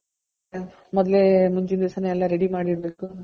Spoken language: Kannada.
ಮೊದ್ಲೇ ಮುಂಚಿನ್ ದಿವ್ಸ ಎಲ್ಲಾ ready ಮಾಡ ಇಡಬೇಕು .